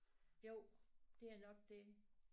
Jo det er nok det